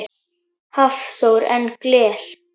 Hafþór: En gler?